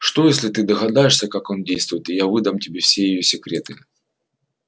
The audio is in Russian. что если ты догадаешься как он действует и я выдам тебе все её секреты